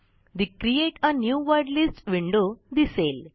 the create a new word list window दिसेल